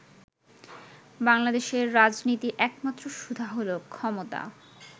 বাংলাদেশের রাজনীতির একমাত্র সুধা হলো 'ক্ষমতা'।